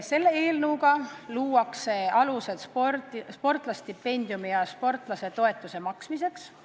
Selle eelnõuga luuakse alused sportlasestipendiumi ja sportlasetoetuse maksmiseks.